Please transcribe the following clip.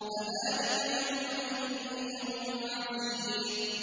فَذَٰلِكَ يَوْمَئِذٍ يَوْمٌ عَسِيرٌ